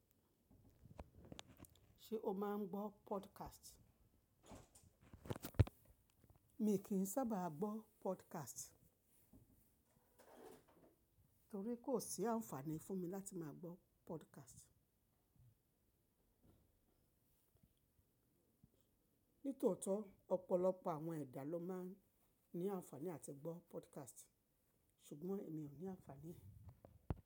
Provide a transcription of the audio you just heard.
Ṣé o máa ń gbọ́ podcast? Mi kì í sábà gbọ́ podcast torí kò sí àǹfààní fún mi láti máa gbọ́ podcast. Nítò tọ́, ọ̀pọ̀lọpọ̀ àwọn ẹ̀dà ló máa ń ní àǹfààní àti gbọ́ podcast ṣùgbọ́n èmi ò ní àǹfààní.